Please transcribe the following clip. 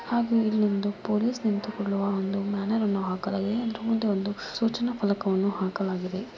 ಆಗು ಇಲ್ಲೊಂದು ಪೊಲೀಸ್ ನಿಂತುಕೊಳ್ಳುವ ಒಂದು ಮ್ಯಾನರ್ ಅನ್ನೋ ಹಾಕಲಾಗಿದೆ ಜೊತೆಗೆ ಒಂದು ಸೂಚನಾ ಫಲಕವನ್ನು ಹಾಕಲಾಗಿದೆ .